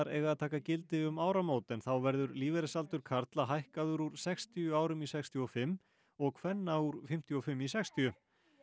eiga að taka gildi um áramót en þá verður lífeyrisaldur karla hækkaður úr sextíu árum í sextíu og fimm og kvenna úr fimmtíu og fimm í sextíu